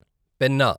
Penna